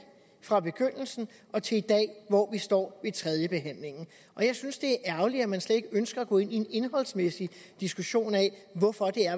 fra begyndelsen og til i dag hvor vi står ved tredjebehandlingen jeg synes det er ærgerligt at man slet ikke ønsker at gå ind i en indholdsmæssig diskussion af hvorfor